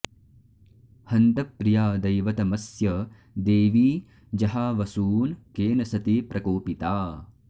हन्त प्रिया दैवतमस्य देवी जहावसून् केन सती प्रकोपिता